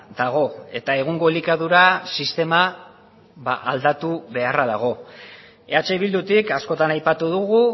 dago eta egungo elikadura sistema aldatu beharra dago eh bildutik askotan aipatu dugu